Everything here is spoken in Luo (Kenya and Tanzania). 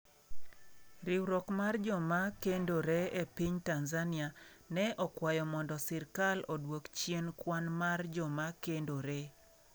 Riwruok mar joma okendore e piny Tanzania ne okwayo mondo sirkal odwok chien kwan mar joma okendore.